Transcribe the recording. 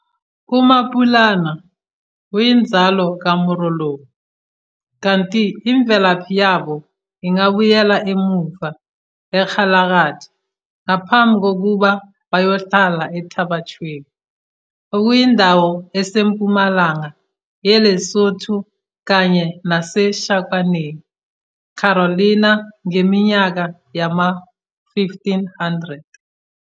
UMapulana uyinzalo kaMorolong kanti imvelaphi yabo ingabuyela emuva eKgalagadi ngaphambi kokuba bayohlala eThaba Chueu, okuyindawo esempumalanga yeLesotho kanye naseShakwaneng, Carolina, ngeminyaka yama-1500.